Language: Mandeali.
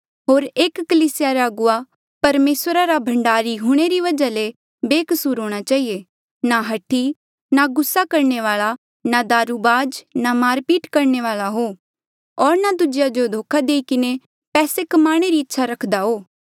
होर एक कलीसिया रा अगुवा परमेसरा रा भंडारी हूंणे री वजहा ले बेकसूर हूंणां चहिए ना हठी ना गुस्सा करणे वाल्आ ना दारुबाज ना मारपीट करणे वाल्आ हो होर ना दूजेया जो धोखा देई किन्हें पैसे कमाणे री इच्छा रखदा हो